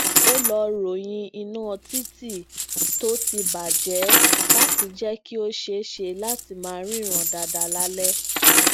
ó lọ ròyìn iná títì tó ti bà jé lati jẹ ki ó ṣeéṣe lati maa ríran dáadáa lálẹ